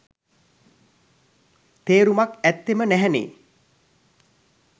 තේරුමක් ඇත්තෙම නැහැනේ.